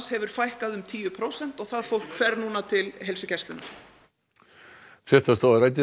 hefur fækkað um tíu prósent og það fólk fer núna til heilsugæslunnar fréttastofa ræddi